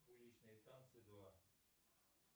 уличные танцы два